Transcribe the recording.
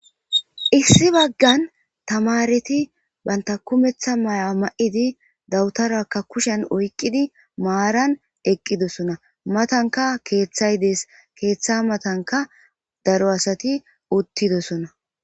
issi baggan tamareti banta kumeththa may7a ma7idi dawutarakka kushen oyqqidi maaran eqqidosona matanka keeththay dees keeththa matanka daro asati uttidosona